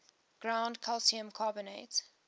ground calcium carbonate